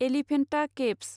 Elephanta caves